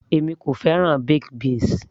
èmi kò fẹ́ràn baked beans